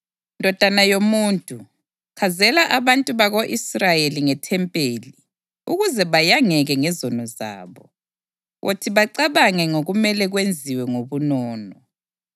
Ndodana yomuntu, chazela abantu bako-Israyeli ngethempeli ukuze bayangeke ngezono zabo. Wothi bacabange ngokumele kwenziwe ngobunono,